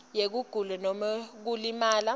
yekugula nobe kulimala